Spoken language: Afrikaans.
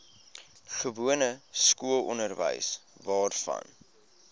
gewone skoolonderwys waarvan